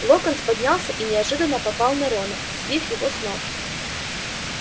локонс поднялся и неожиданно попал на рона сбив его с ног